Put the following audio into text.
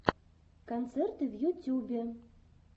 концерты в ютюбе